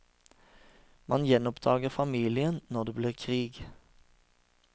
Man gjenoppdager familien når det blir krig.